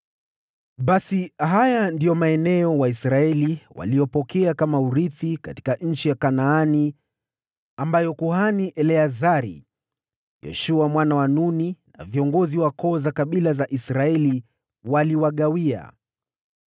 Basi haya ndiyo maeneo Waisraeli waliyopokea kama urithi katika nchi ya Kanaani, ambayo kuhani Eleazari, Yoshua mwana wa Nuni na viongozi wa koo za kabila za Israeli waliwagawia.